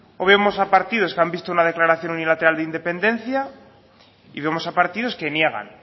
hoy vemos a partidos que han visto una declaración unilateral de independencia y vemos a partidos que niegan